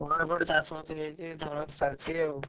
ହଁ ଏପଟେ ଚାଷ ବାସ ସବୁ ସାରିଛି ଆଉ।